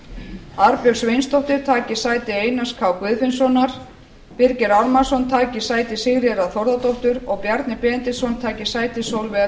grein þingskapa arnbjörg sveinsdóttir taki sæti einars k guðfinnssonar birgir ármannsson taki sæti sigríðar a þórðardóttur og bjarni benediktsson taki sæti sólveigar